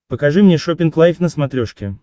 покажи мне шоппинг лайф на смотрешке